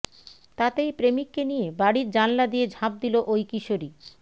তাতেই প্রেমিককে নিয়ে বাড়ির জানলা দিয়ে ঝাঁপ দিল ওই কিশোরী